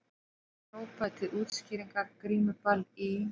Hann hrópaði til útskýringar:- Grímuball í